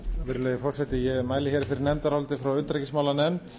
virðulegi forseti ég mæli hér fyrir nefndaráliti frá utanríkismálanefnd